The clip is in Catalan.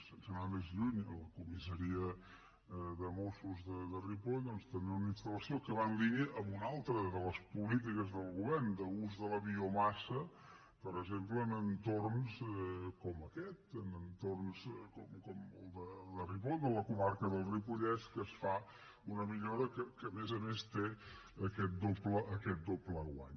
sense anar més lluny a la comissaria de mossos de ripoll tenen una installació que va en línia amb una altra de les polítiques del govern d’ús de la biomassa per exemple en entorns com aquest en entorns com el de ripoll de la comarca del ripollès en què es fa una millora que a més a més té aquest doble guany